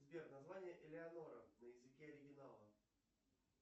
сбер название элеонора на языке оригинала